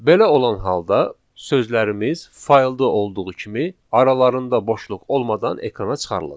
Belə olan halda sözlərimiz faylda olduğu kimi aralarında boşluq olmadan ekrana çıxarılacaq.